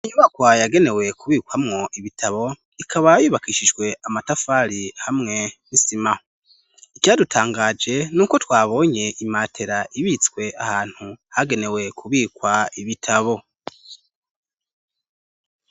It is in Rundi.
inyubakwa yagenewe kubikwamwo ibitabo ikaba yubakishijwe amatafari hamwe nisima icadutangaje n'uko twabonye imatera ibitswe ahantu hagenewe kubikwa ibitabo